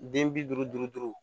Den bi duuru duuru